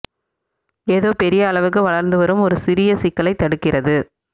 ஏதோ பெரிய அளவுக்கு வளர்ந்து வரும் ஒரு சிறிய சிக்கலை தடுக்கிறது